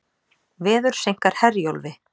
Veður seinkar Herjólfi